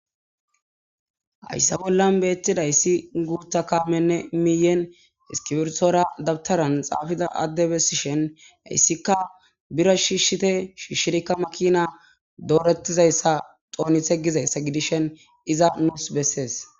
hayssa bollan beettidayssi guutha kaamenne miyen iskibiertora dabtaran xaafida addebessishen hayssika biro shiishshite shiishshirikka makina doorettizayssa xoonithe gizayssa gidishen iza nusi besees.